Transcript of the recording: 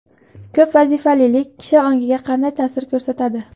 Ko‘p vazifalilik kishi ongiga qanday ta’sir ko‘rsatadi?.